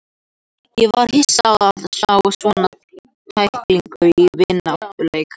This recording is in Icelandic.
Ég var hissa á að sjá svona tæklingu í vináttuleik.